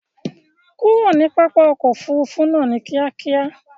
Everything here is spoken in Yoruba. Kurò ní pápá òkò òfúrùfú náà ní kìákíá!